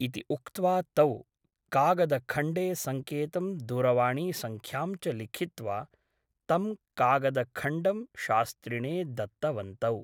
इति उक्त्वा तौ कागदखण्डे सङ्केतं दूरवाणीसङ्ख्यां च लिखित्वा तं कागदखण्डं शास्त्रिणे दत्तवन्तौ ।